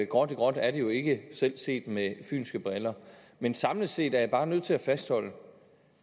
gråt i gråt er det jo ikke selv set med fynske briller men samlet set er jeg bare nødt til at fastholde